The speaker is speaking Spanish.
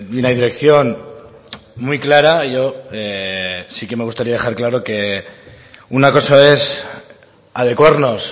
una dirección muy clara yo sí que me gustaría dejar claro que una cosa es adecuarnos